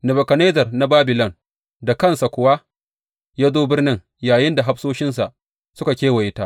Nebukadnezzar na Babilon da kansa kuwa ya zo birnin yayinda hafsoshinsa suka kewaye ta.